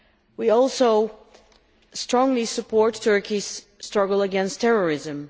We also strongly support Turkey's struggle against terrorism.